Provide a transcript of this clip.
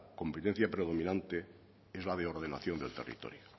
competencia determinantes es la de ordenación del territorio